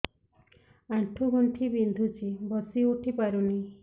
ଆଣ୍ଠୁ ଗଣ୍ଠି ବିନ୍ଧୁଛି ବସିଉଠି ପାରୁନି